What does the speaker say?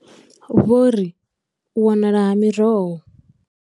Vho ri, u wanala ha miroho.